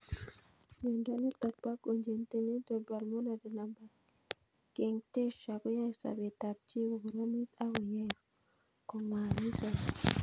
Miondo nitok po congenital pulmonary lymphangiectasia koyae sopet ab chii kokoromit akoyae konwagit sobet